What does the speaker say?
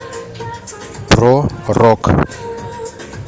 про рок